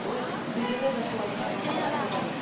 видеода да солай не қылған ғой айтылған